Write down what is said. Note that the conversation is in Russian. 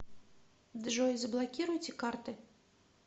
джой заблокируйте карты